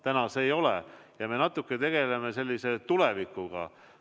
Täna see nii ei ole ja praegu me natuke tegeleksime tulevikuga.